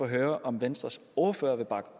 høre om venstres ordfører vil bakke